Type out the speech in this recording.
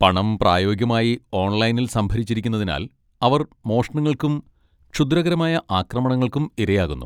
പണം പ്രായോഗികമായി 'ഓൺലൈനിൽ' സംഭരിച്ചിരിക്കുന്നതിനാൽ, അവർ മോഷണങ്ങൾക്കും ക്ഷുദ്രകരമായ ആക്രമണങ്ങൾക്കും ഇരയാകുന്നു.